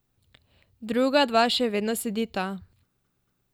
Druga dva še vedno sedita.